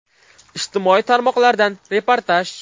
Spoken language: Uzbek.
Ijtimoiy tarmoqlardan reportaj.